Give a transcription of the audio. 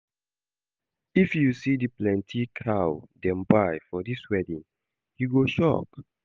If you see the plenty plenty cow dem buy for this wedding, you go shock